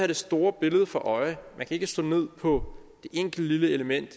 det store billede for øje man kan ikke slå ned på et enkelt lille element i